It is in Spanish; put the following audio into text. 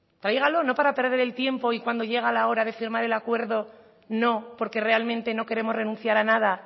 tráigalo no para perder el tiempo y cuando llega la hora de firmar el acuerdo no porque realmente no queremos renunciar a nada